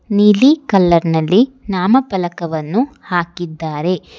ನೀಲಿ ಕಲರ್ ನಲ್ಲಿ ನಾಮಫಲಕವನ್ನು ಹಾಕಿದ್ದಾರೆ.